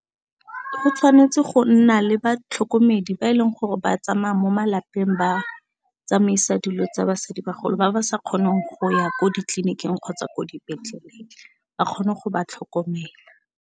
Go tshwanetse go nna le batlhokomedi ba e leng gore ba tsamaya mo malapeng ba tsamaisa dilo tsa basadibagolo ba ba sa kgoneng go ya ko ditleliniking kgotsa ko dipetleleng ba kgone go ba tlhokomela.